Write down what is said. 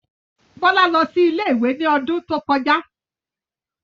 Bọ́lá lọ sí ilé-ìwé ní odún tó kọjá